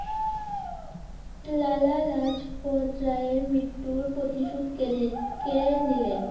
লালা লাজপত রায় এর মৃত্যুর প্রতিশোধ কে নি~কে নিলেন?